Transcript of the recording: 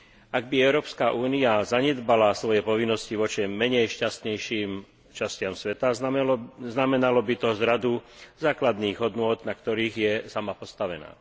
Ak by Európska únia zanedbala svoje povinnosti voči menej šťastnejším častiam sveta, znamenalo by to zradu základných hodnôt, na ktorých je sama postavená.